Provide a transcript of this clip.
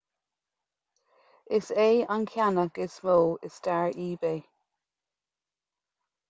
is é an ceannach is mó i stair ebay